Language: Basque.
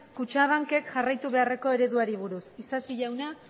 kutxabankek jarraitu beharreko ereduari buruz isasi jauna